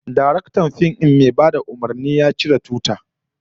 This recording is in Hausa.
Daraktan fim din mai bada umurni, ya ciri tuta